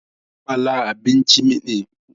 Sapala abinci ne mai daɗi na Yarbawa, yana da kyau da daɗi